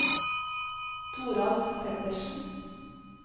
Toralf Pettersen